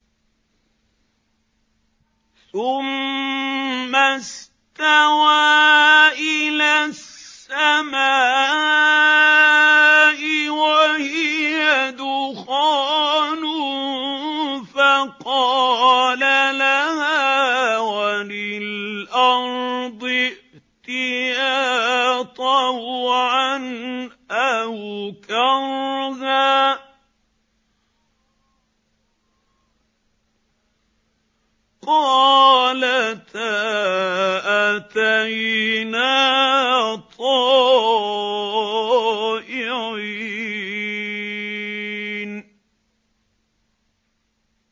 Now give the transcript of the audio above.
ثُمَّ اسْتَوَىٰ إِلَى السَّمَاءِ وَهِيَ دُخَانٌ فَقَالَ لَهَا وَلِلْأَرْضِ ائْتِيَا طَوْعًا أَوْ كَرْهًا قَالَتَا أَتَيْنَا طَائِعِينَ